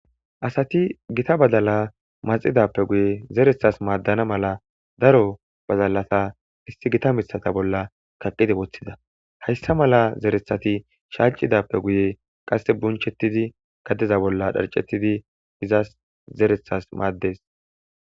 Asati gita badala maxxidappe guye zereththas maadana mala daro badalata issi gita miththata bolla kaqqidi woththida. Hayssa mala zereththati shaaccidappe guye qasse buncgchetidi gadeza bolla dharccetidi izas zereththas maades.